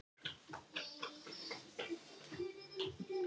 Hann fær sjötíu þúsund krónur í kaup á mánuði.